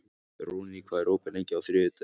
Hróðný, hvað er opið lengi á þriðjudaginn?